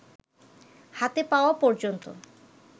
হাতে পাওয়া পর্যন্ত